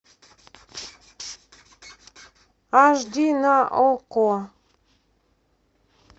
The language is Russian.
аш ди на окко